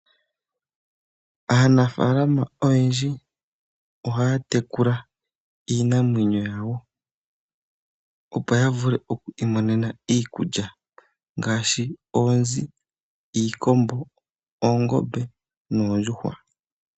Aanafalama oyendji ohaya tekula iinamwenyo yawo opo ya vule oku imonenemo iikulya ngaashi oonzi, iikombo, oongombe noondjuhwa.